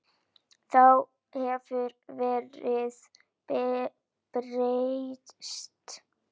Þá hefur verðið breyst.